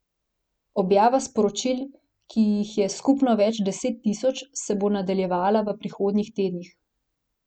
Objava sporočil, ki jih je skupno več deset tisoč, se bo nadaljevala v prihodnjih tednih.